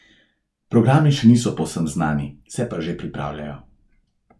Programi še niso povsem znani, se pa že pripravljajo.